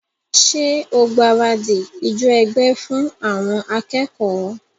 Ṣé o gbaradì ijó ẹgbẹ́ fún àwọn akẹ́kọ̀ọ́?